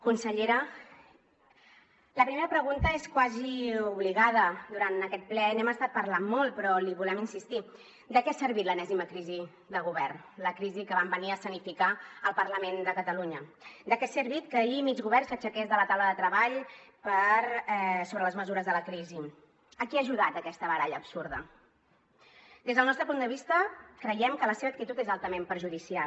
consellera la primera pregunta és quasi obligada durant aquest ple n’hem estat parlant molt però li volem insistir de què ha servit l’enèsima crisi de govern la crisi que van venir a escenificar al parlament de catalunya de què ha servit que ahir mig govern s’aixequés de la taula de treball sobre les mesures de la crisi a qui ha ajudat aquesta baralla absurda des del nostre punt de vista creiem que la seva actitud és altament perjudicial